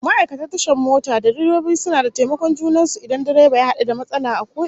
Ma'aikatan tashar mota da direbobi suna da taimakon junan su idan direba ya hadu da matsala a ko ina